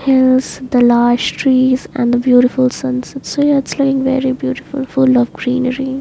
Hills the large trees and the beautiful sunset so it's looking very beautiful full of greenery.